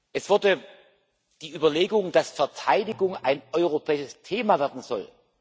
Es wurde die Überlegung kritisiert, dass Verteidigung ein europäisches Thema werden soll.